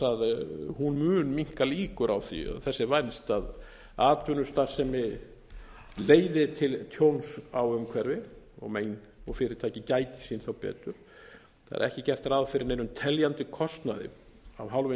að hún mun minnka líkur á því þess er vænst að atvinnustarfsemi leiði til tjóns á umhverfi og fyrirtæki gæti sín þá betur það er ekki gert ráð fyrir neinum teljandi kostnaði af hálfu hins